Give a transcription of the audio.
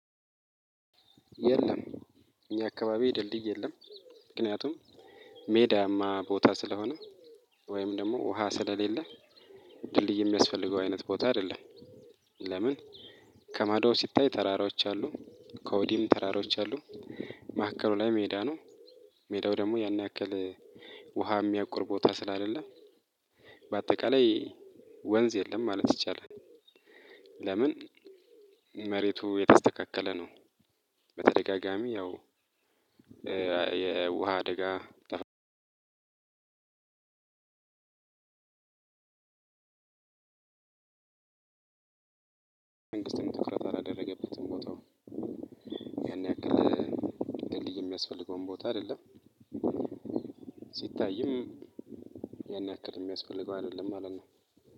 የለም። የአካባቢ ድልድይ የለም ምክንያቱም ሜዳማ ቦታ ስለሆነ ወይም ደሞ ውሃ ስለሌለ ድልድይ የሚያስፈልገው አይነት ቦታ አይደለም። ለምን? ከማዶ ሲታይ ተራራዎች አሉ። ከወዲህም ተራራዎች አሉ። መሀከሉ ላይ ሜዳ ነው። ሜዳው ደግሞ ያን ያክል ውሃ እሚያቁር ቦታ ስለሌለ። ባጠቃላይ ወንዝ የለም ማለት ይቻላል። ለምን? መሬቱ የተስተካከለ ነው። በተደጋጋሚ ያው የውሃ አደጋ ተፈጥሮ። መንግስት ትኩረት አላደረገበትም ቦታውን። ያን ያክል ድልድይ የሚያስፈልገውን ቦታ አይደለም። ሲታይም ያን ያክል እሚያስፈልገው አደለም ማለት ነው።